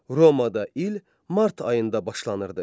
Romada il mart ayında başlanırdı.